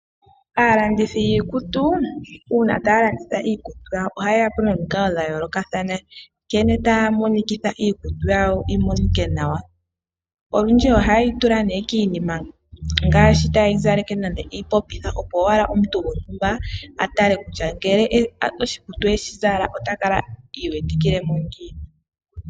Aalandithi yiikutu una taya landitha iikutu ohaye ya po nomiikalo dha yoolokathana nkene taya monikitha iikutu yawo yi monike nawa. Olundji ohaye yi tula ne kiinima nenge epopitha opo omuntu gontumba a tale kutya ngele oshikutu e shi zala ota kala iiwetikile mo ngiini.